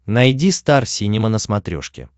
найди стар синема на смотрешке